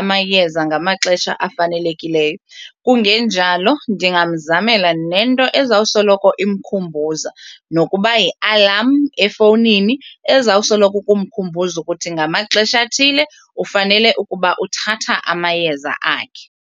amayeza ngamaxesha afanelekileyo kungenjalo ndingamzamela nento ezawusoloko imkhumbuza nokuba yi-alarm efowunini ezawusoloko ukumkhumbuza ukuthi ngamaxesha athile ufanele ukuba uthatha amayeza akhe.